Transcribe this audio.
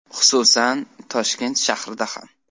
Xususan, Toshkent shahrida ham.